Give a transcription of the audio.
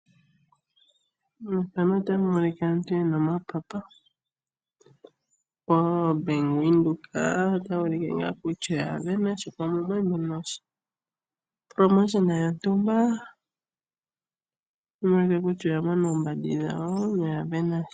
Methanol otamu monika aantu yena omapapa po bank windhoek otayuulike kutya oya vena sha pamwe omwali muna ethigathano lyontumba. Omuwete kutya oya vena oombandi dhawo, noya monasha.